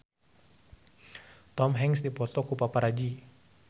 Tom Hanks dipoto ku paparazi